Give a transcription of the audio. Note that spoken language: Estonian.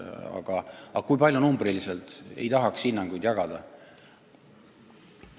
Aga kui palju arvuliselt, ei tahaks hinnangut anda.